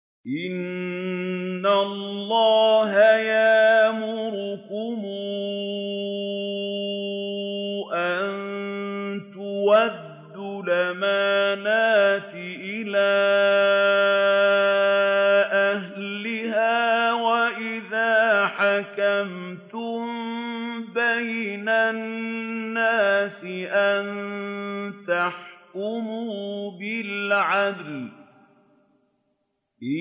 ۞ إِنَّ اللَّهَ يَأْمُرُكُمْ أَن تُؤَدُّوا الْأَمَانَاتِ إِلَىٰ أَهْلِهَا وَإِذَا حَكَمْتُم بَيْنَ النَّاسِ أَن تَحْكُمُوا بِالْعَدْلِ ۚ